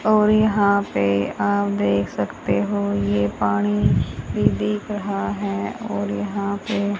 और यहां पे आप देख सकते हो ये पानी भी दिख रहा है और यहां पे--